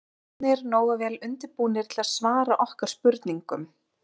Eruð þið ekki orðnir nógu vel undirbúnir til að svara okkar spurningum?